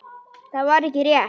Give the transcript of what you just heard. Það var ekki rétt.